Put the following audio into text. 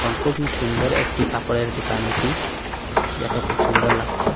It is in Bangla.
এবং খুবই সুন্দর একটি কাপড়ের দোকান এটি দেখে খুব সুন্দর লাগছে।